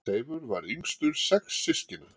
Seifur var yngstur sex systkina.